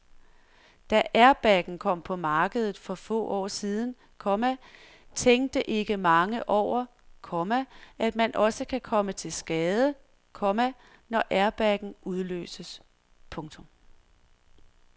Da airbagen kom på markedet for få år siden, komma tænkte ikke mange over, komma at man også kan komme til skade, komma når airbagen udløses. punktum